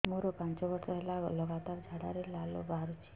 ମୋରୋ ପାଞ୍ଚ ବର୍ଷ ହେଲା ଲଗାତାର ଝାଡ଼ାରେ ଲାଳ ବାହାରୁଚି